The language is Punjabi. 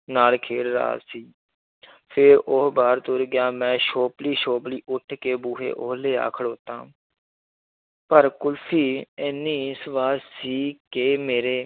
ਨਾਲ ਖੇਡ ਰਿਹਾ ਸੀ ਫਿਰ ਉਹ ਬਾਹਰ ਤੁਰ ਗਿਆ ਮੈਂ ਸੋਪਲੀ ਸੋਪਲੀ ਉੱਠ ਕੇ ਬੂਹੇ ਓਲੇ ਆ ਖੜੋਤਾ ਪਰ ਕੁਲਫ਼ੀ ਇੰਨੀ ਸਵਾਦ ਸੀ ਕਿ ਮੇਰੇ